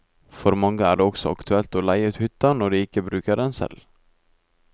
For mange er det også aktuelt å leie ut hytta når de ikke bruker den selv.